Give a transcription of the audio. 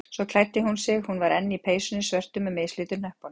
Svo klæddi hún sig- hún var enn í peysunni svörtu með mislitu hnöppunum.